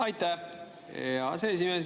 Aitäh, hea aseesimees!